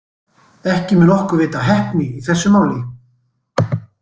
Ekki mun okkar veita af heppni í þessu máli.